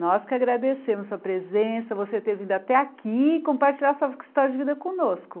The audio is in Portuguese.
Nós que agradecemos a sua presença, você ter vindo até aqui e compartilhar sua história de vida conosco.